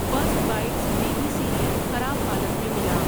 First Bites baby cereal خراب حالت میں ملا۔